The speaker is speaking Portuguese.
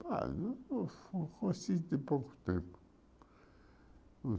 Ah, eu co conheci tem pouco tempo.